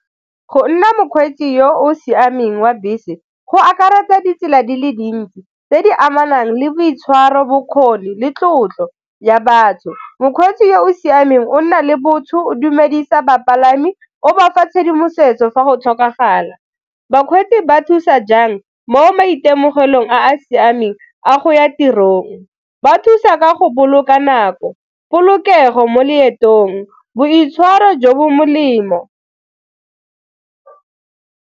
Go nna mokgweetsi yo o siameng wa bese go akaretsa ditsela di le dintsi tse di amanang le boitshwaro, bokgoni le tlotlo ya batho. Mokgweetsi yo o siameng o nna le botho, o dumedisa bapalami o bafa tshedimosetso fa go tlhokagala. Bakgweetsi ba thusa jang mo maitemogelong a a siameng a go ya tirong? Ba thusa ka go boloka nako, polokego mo leetong, boitshwaro jo bo molemo.